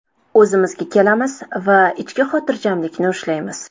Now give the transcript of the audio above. O‘zimizga kelamiz va ichki xotirjamlikni ushlaymiz.